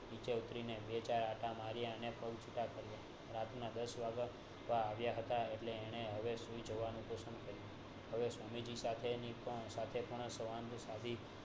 નીચે ઉતરીની બે ચાર આંટા માર્યા ને પગ છૂટા કાર્ય રાતના દસ વાગવા આવ્યા હતા એટલે એને હવે સુઈ જવાનું કર્યું હવે સમીથી સાથે ની પણ